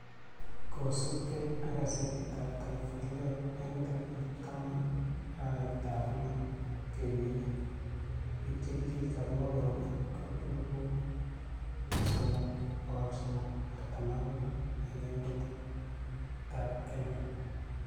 kosubgei ak gasetitab Taifa leo eng' tarikitab taman, arawetab lo, kenyit ni, biik che kisirto akobo koroi ko elput somok, bokol somok, artam ak mut eng' emetab Kenya.